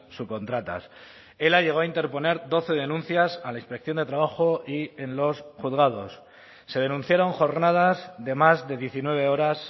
subcontratas ela llegó a interponer doce denuncias a la inspección de trabajo y en los juzgados se denunciaron jornadas de más de diecinueve horas